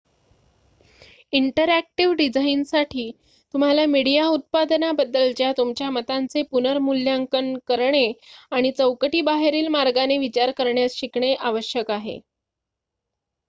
interactive डिझाईनसाठी तुम्हाला media उत्पादनाबद्दलच्या तुमच्या मतांचे पुनर्मूल्यांकन करणे आणि चौकटी बाहेरील मार्गाने विचार करण्यास शिकणे आवश्यक आहे